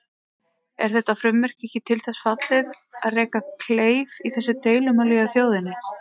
Er þetta frumvarp ekki til þess fallið að reka kleif í þessu deilumáli hjá þjóðinni?